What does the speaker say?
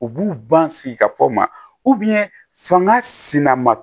U b'u ban sigi ka fɔ ma fanga sina ma